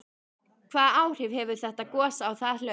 Hvaða áhrif hefur þetta gos á það hlaup?